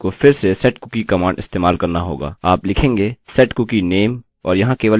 कूकीcookie की वेल्यु बदलने लिए आपको फिर से setcookie कमांड इस्तेमाल करना होगा